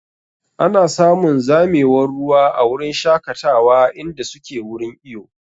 Ana samun zamewar ruwa a wurin shakatawa inda suke wurin iyo.